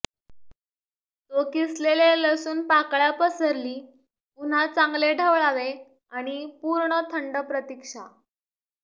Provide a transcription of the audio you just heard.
तो किसलेले लसूण पाकळ्या पसरली पुन्हा चांगले ढवळावे आणि पूर्ण थंड प्रतीक्षा